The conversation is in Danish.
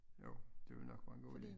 Jo det vil nok være en god idé